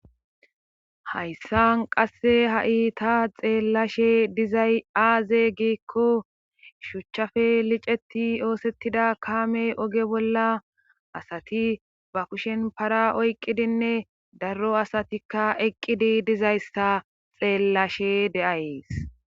hayssan qasse ha7i ta xeellashe dizay aaze gikko shuchchafe liceti oosettida kaame oge bolla asati ba kushen para oyqqidinne daro asatikka eqqidi dizayssa xeellashe deays